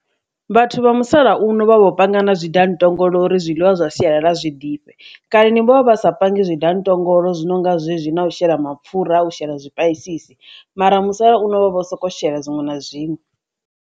Vhathu vha musalauno vha vho panga na zwi danntongolo uri zwiḽiwa zwa sialala zwi ḓifhe, kaleni ni vho vha vha sa pangi zwi danntongolo zwi nonga zwezwi na u shela mapfura a shela zwipaisisi, mara musalauno vha vho sokou shela zwiṅwe na zwiṅwe.